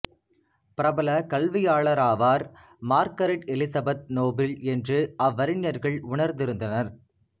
பிரபல கல்வியாளராவார் Margaret Elizabeth Noble என்று அவ்வறிஞர்கள் உணர்ந்திருந்தனர்